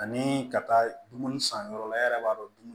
Ani ka taa dumuni san yɔrɔ la e yɛrɛ b'a dɔn dumuni